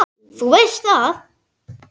Þú veist það!